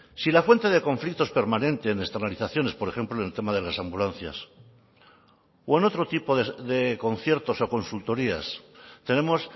si la fuente de conflictos permanente en externalizaciones por ejemplo en el tema de las ambulancias o en otro tipo de conciertos o consultorías tenemos